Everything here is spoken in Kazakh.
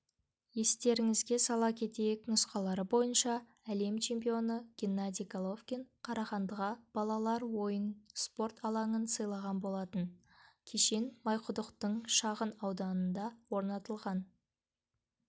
естеріңізге сала кетейік нұсқалары бойынша әлем чемпионы геннадий головкин қарағандыға балалар ойын спорт алаңын сыйлаған болатын кешен майқұдықтың шағын ауданында орнатылған